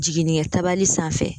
Jiginnikɛtali sanfɛ.